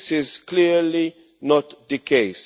That is clearly not the case.